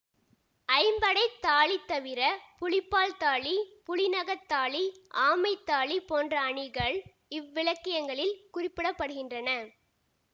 ஐம்படைத் தாலி தவிர புலிப்பல் தாலி புலிநகத் தாலி ஆமைத் தாலி போன்ற அணிகள் இவ்விலக்கியங்களில் குறிப்பிட படுகின்றன